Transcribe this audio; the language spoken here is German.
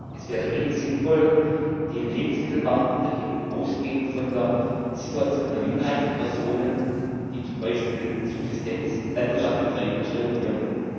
Es wäre wenig sinnvoll, den Lebensmittelmarkt in der EU ausgehend von der Situation einer Minderheit von Personen, die zum Beispiel Subsistenzlandwirtschaft betreiben, zu regulieren.